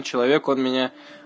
человек он меня